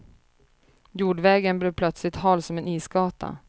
Jordvägen blev plötsligt hal som en isgata.